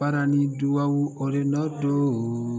Baara ni dugawu o de nɔ don